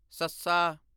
ਸੱਸਾ